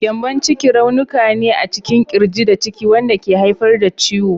Gyambon ciki raunuka ne a cikin ƙirji da ciki wanda ke haifar da ciwo.